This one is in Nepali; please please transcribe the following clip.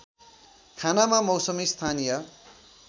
खानामा मौसमी स्थानीय